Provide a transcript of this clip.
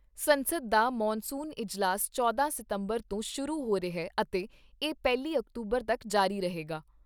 ਸੰਸਦ ਦਾ ਮਾਨਸੂਨ ਇਜਲਾਸ ਚੌਦਾ ਸਤੰਬਰ ਤੋਂ ਸ਼ੁਰੂ ਹੋ ਰਿਹਾ ਅਤੇ ਇਹ ਪਹਿਲੀ ਅਕਤੂਬਰ ਤੱਕ ਜਾਰੀ ਰਹੇਗਾ।